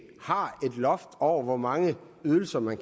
har loft over hvor mange ydelser man